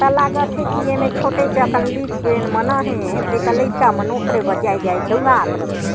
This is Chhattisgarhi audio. त लागा थे की एमे छोटे च अकन लिट पेंट मन आहे तेकर लाइका मन ओकरे बर जाए-जाए झाऊहात रईथे।